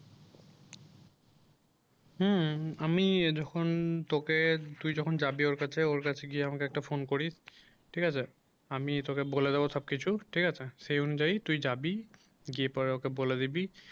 হুম হুম আমি যখন তোকে তুই যখন যাবি ওর কাছে ওর কাছে গিয়ে আমাকে একটা phone করিস ঠিক আছে আমি তোকে বলে দেবো সব কিছু ঠিক আছে সেই অনুযায়ী তুই যাবি গিয়ে তারপর ওকে বলে দিবি